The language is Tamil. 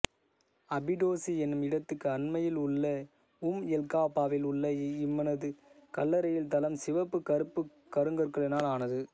அபிடோசு என்னும் இடத்துக்கு அண்மையில் உள்ள உம்எல்காபாவில் உள்ள இவனது கல்லறையின் தளம் சிவப்பு கறுப்புக் கருங்கற்களினால் ஆனது